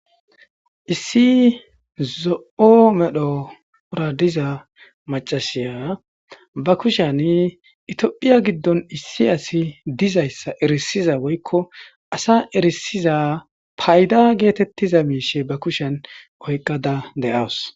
Issi zo'o medhora diza maccasiya ba kushiyan itophphiya giddon issi asi dizayssa erissiza woykko asa erissiza payda geetettiza miishshe be kushan oyqqada de'awus.